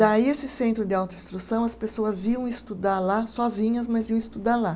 Daí, esse centro de autoinstrução, as pessoas iam estudar lá, sozinhas, mas iam estudar lá.